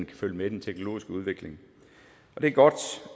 kan følge med den teknologiske udvikling det er godt